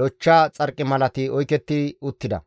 lochcha xarqimalati oyketti uttida.